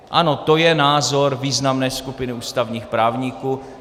Ano, to je názor významné skupiny ústavních právníků.